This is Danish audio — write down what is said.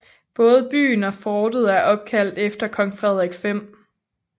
Både byen og fortet er opkaldt efter kong Frederik 5